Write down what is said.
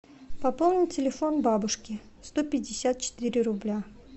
пополнить телефон бабушки сто пятьдесят четыре рубля